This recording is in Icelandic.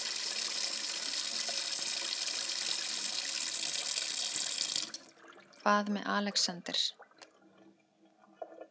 Hvað með Alexander?